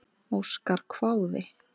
Óskar hváði.